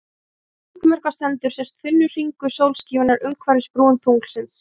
Á meðan hringmyrkva stendur sést þunnur hringur sólskífunnar umhverfis brún tunglsins.